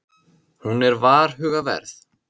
Hún er varhugaverð.